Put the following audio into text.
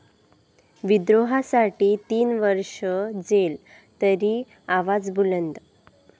विद्रोहासाठी तीन वर्ष जेल तरी आवाज बुलंद!